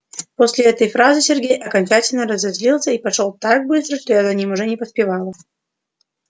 после этой фразы сергей окончательно разозлился и пошёл так быстро что я за ним уже не поспевала